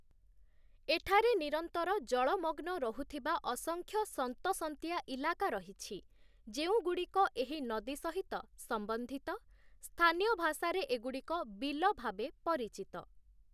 ଏଠାରେ ନିରନ୍ତର ଜଳମଗ୍ନ ରହୁଥିବା ଅସଂଖ୍ୟ ସନ୍ତସନ୍ତିଆ ଇଲାକା ରହିଛି, ଯେଉଁଗୁଡ଼ିକ ଏହି ନଦୀ ସହିତ ସମ୍ବନ୍ଧିତ, ସ୍ଥାନୀୟ ଭାଷାରେ ଏଗୁଡ଼ିକ 'ବିଲ' ଭାବେ ପରିଚିତ ।